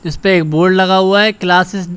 इसपे एक बोर्ड लगा हुआ है क्लासेस --